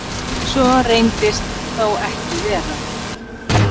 Svo reyndist þó ekki vera.